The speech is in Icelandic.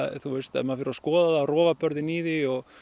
ef maður fer og skoðar rofabörðin í því og